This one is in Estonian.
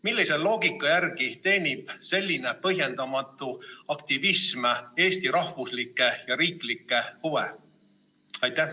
Millise loogika järgi teenib selline põhjendamatu aktivism Eesti rahvuslikke ja riiklikke huve?